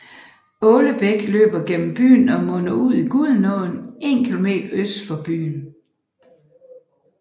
Åle Bæk løber gennem byen og munder ud i Gudenåen 1 km øst for byen